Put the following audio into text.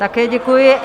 Také děkuji.